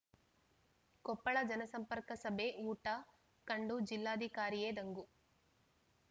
ಕೊಪ್ಪಳ ಜನಸಂಪರ್ಕ ಸಭೆ ಊಟ ಕಂಡು ಜಿಲ್ಲಾಧಿಕಾರಿಯೇ ದಂಗು